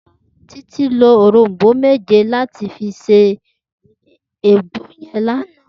Titi ló órómbó méjé làtí fi sé àgbó yèn làná